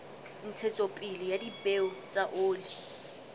ntshetsopele ya dipeo tsa oli